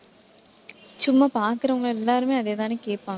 சும்மா பாக்கறவங்க எல்லாருமே அதேதானே கேட்பாங்க.